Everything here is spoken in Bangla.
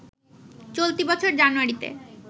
চলতি বছর জানুয়ারিতে